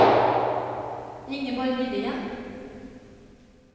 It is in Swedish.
Ingeborg Nylén